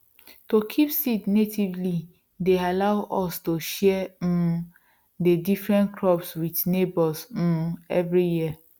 to kip seed natively deyallow us to share um dey different crop wit neighbours um every year